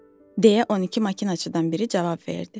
deyə 12 maşınçıdan biri cavab verdi.